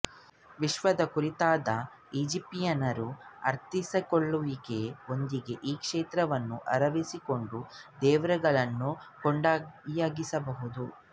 ವಿಶ್ವದ ಕುರಿತಾದ ಈಜಿಪ್ತಿಯನ್ನರ ಅರ್ಥೈಸಿಕೊಳ್ಳುವಿಕೆಯೊಂದಿಗೆ ಈ ಕ್ಷೇತ್ರವನ್ನು ಆವರಿಸಿಕೊಂಡ ದೇವರುಗಳನ್ನು ಕೊಂಡಿಯಾಗಿಸಬಹುದು